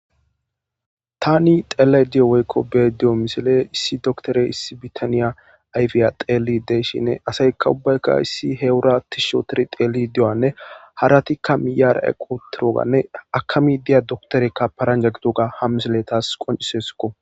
tani xelay diyo woykko be'adiyo misile issi doktore issi bitaniya ayfiya xeeli deeshinne asaykka ubbaykka issi heewura tis shootiri xeeli de7anne haratikka miyara equtiroganne akami diya doktorekka paranja gidoga hamisile taas qoncisesukko